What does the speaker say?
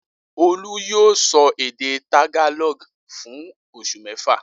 Olú yóò sọ èdè Tagalog fún oṣù mẹ́fà!